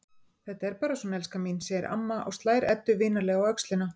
Þetta er bara svona, elskan mín, segir amma og slær Eddu vinalega á öxlina.